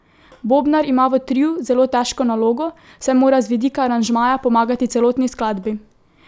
Bobnar ima v triu zelo težko nalogo, saj mora z vidika aranžmaja pomagati celotni skladbi.